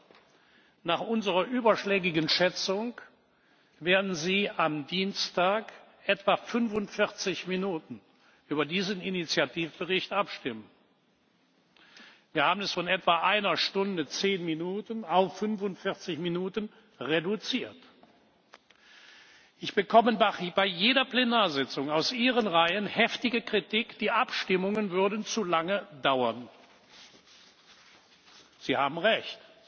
Abstimmung haben. Nach unserer überschlägigen Schätzung werden Sie am Dienstag etwa 45 Minuten über diesen Initiativbericht abstimmen. Wir haben es von etwa einer Stunde und zehn Minuten auf 45 Minuten reduziert. Ich bekomme bei jeder Plenarsitzung aus Ihren Reihen heftige Kritik, die Abstimmungen würden zu lange dauern. Sie haben